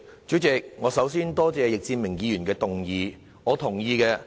主席，我首先多謝易志明議員動議這項議案。